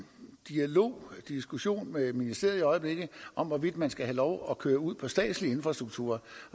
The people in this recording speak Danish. dialog en diskussion med ministeriet i øjeblikket om hvorvidt man skal have lov til at køre ud på statslige infrastrukturer